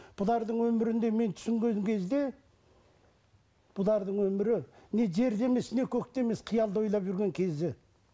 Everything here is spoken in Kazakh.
өмірінде мен түсінген кезде өмірі не жерде емес не көкте емес қиялды ойлап жүрген кезі